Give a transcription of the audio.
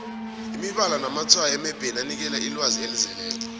imibala namatshwayo emebheni anikela ilwazi elizeleko